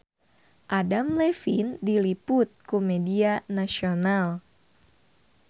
Adam Levine diliput ku media nasional